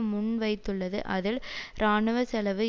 முன்வைத்துள்ளது அதில் இராணுவ செலவு